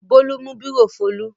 Bólú mú bírò Folú.